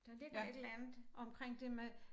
Der ligger et eller andet omkring det med